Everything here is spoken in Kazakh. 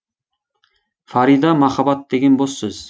фарида махаббат деген бос сөз